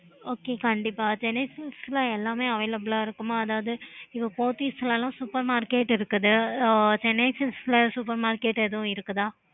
okay